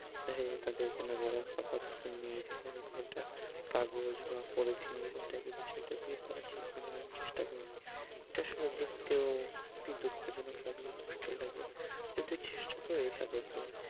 দেখা যায় যে তাদের কোন গরম কাপড় তো নেই। তাদের যে একটা কাগজ বা পলিথিন এইরকম এইরকম type এর কিছু একটা দিয়ে তাদের শীত নিবারণের চেষ্টা করে। এটা আসলেও দেখতেও খুবই দুঃখজনক লাগে, কষ্টের লাগে, কিন্তু চেষ্টা করি তাদেরকে